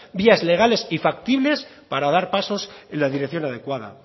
vías legales y factibles para dar pasos en la dirección adecuada